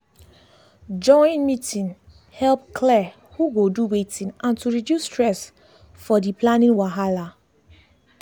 join meeting help clear who go do wetin and to reduce stress for dey planning wahala